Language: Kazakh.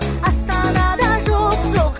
астанада жоқ жоқ